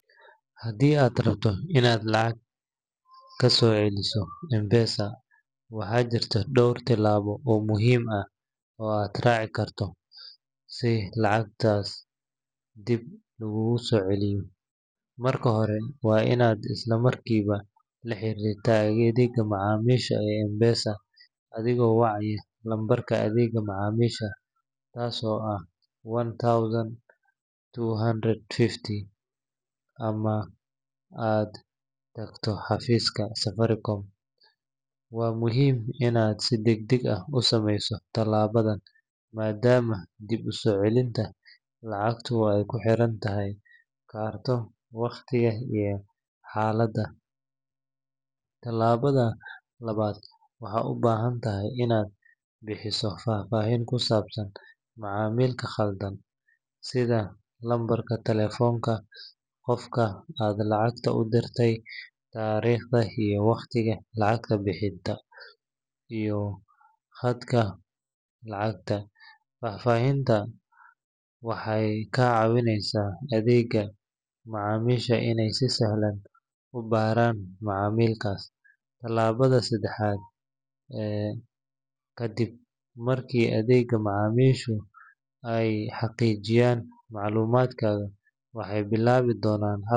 Haddii aad rabto inaad lacag ka soo celiso M-Pesa, waxaa jira dhowr tallaabo oo muhiim ah oo aad raaci karto si lacagtaas dib laguguugu soo celiyo. Marka hore, waa inaad isla markiiba la xiriirtaa adeegga macaamiisha ee M-Pesa adigoo wacaya lambarka adeegga macaamiisha, kaas oo ah one thousand two hundred fifty ama aad tagtaa xafiiska Safaricom. Waa muhiim in aad si degdeg ah u sameyso tallaabadan maadaama dib u soo celinta lacagtu ay ku xirnaan karto waqtiga iyo xaaladda. Tallaabada labaad, waxaad u baahan tahay inaad bixiso faahfaahinta ku saabsan macaamilka khaldan, sida lambarka telefoonka qofka aad lacagta u dirtay, taariikhda iyo waqtiga lacag bixinta, iyo qadarka lacagta. Faahfaahintan waxay ka caawineysaa adeegga macaamiisha inay si sahlan u baaraan macaamilkaas. Tallaabada saddexaad, kadib markii adeegga macaamiishu ay xaqiijiyaan macluumaadkaaga, waxay bilaabi doonaan.